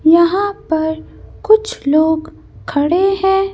यहां पर कुछ लोग खड़े हैं।